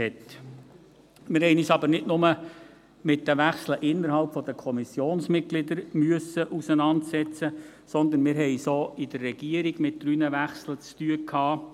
Wir mussten uns nicht nur mit den Wechsel unter den Kommissionsmitgliedern auseinandersetzen, sondern hatten es auch seitens der Regierung mit drei Wechseln zu tun.